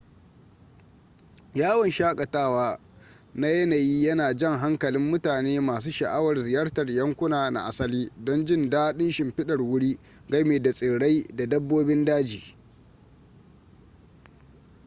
yawon shakatawa na yanayi yana jan hankalin mutane masu sha'awar ziyartar yankuna na asali don jin daɗin shimfidar wuri gami da tsirrai da dabbobin daji